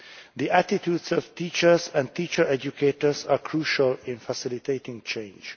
The attitudes of teachers and teacher educators are crucial in facilitating change.